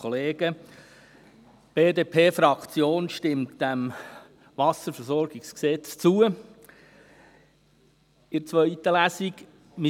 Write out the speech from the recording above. Die BDP-Fraktion stimmt diesem Wasserversorgungsgesetz in der zweiten Lesung zu.